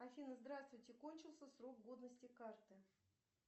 афина здравствуйте кончился срок годности карты